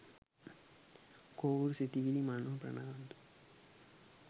කොවූර් සිතිවිලි මනෝ ප්‍රනාන්දු .